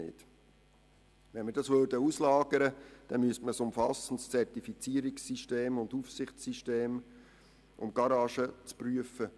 Würden wir die Kontrolle auslagern, müssten wir ein umfassendes Zertifizierungs- und Aufsichtssystem einrichten, um die Werkstätten zu prüfen.